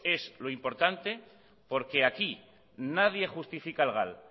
es lo importante porque aquí nadie justifica al gal